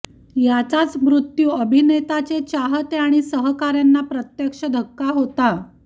याचाच मृत्यू अभिनेता चे चाहते आणि सहकार्यांना प्रत्यक्ष धक्का होता